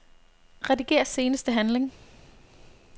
Rediger seneste handling.